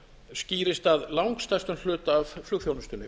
skýrist að langstærstum hluta af flugþjónustunni